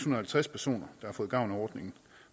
og halvtreds personer der har fået gavn af ordningen